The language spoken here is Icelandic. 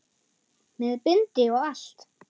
Með bindi og allt!